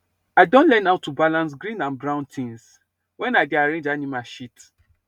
i don learn how to balance green and brown things when i dey arrange animal shit